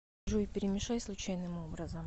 джой перемешай случайным образом